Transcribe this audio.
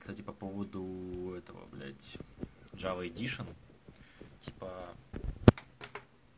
кстати по поводу этого блять жава эдишн типа